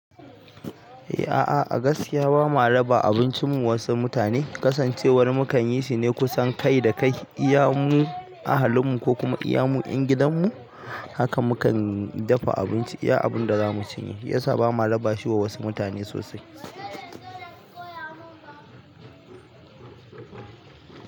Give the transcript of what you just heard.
A'a a gaskiya bama raba abincin mu wasu mutane. Kasancewar mu kan yi shi ne kusan kai da kai, iya mu, ahalin mu ko kuma iya mu 'yan gidan mu haka mu kan dafa abinci iya abin da za mu cinye ya sa ba ma raba shi wa wasu mutane sosai.